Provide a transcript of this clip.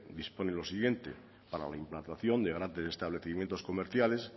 dispone lo siguiente para la implantación de grandes establecimientos comerciales